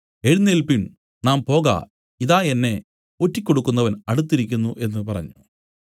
എഴുന്നേല്പിൻ നാം പോക ഇതാ എന്നെ ഒറ്റികൊടുക്കുന്നവൻ അടുത്തിരിക്കുന്നു എന്നു പറഞ്ഞു